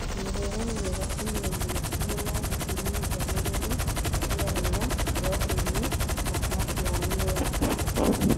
Mĩrĩre mĩega ĩna irio ciĩna ithimi njagĩrĩru cia hinya, proteini na kaciamu nĩ ya bata